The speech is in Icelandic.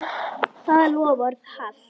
Það loforð halt.